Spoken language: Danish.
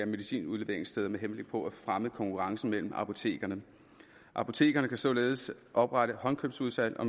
medicinudleveringssteder med henblik på at fremme konkurrencen mellem apotekerne apotekerne kan således oprette håndkøbsudsalg og